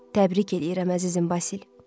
Təbrik eləyirəm əzizim Basil.